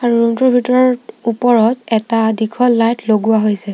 Room টোৰ ভিতৰত ওপৰত এটা দীঘল লাইট লগোৱা হৈছে।